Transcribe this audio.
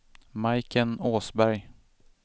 Majken Åsberg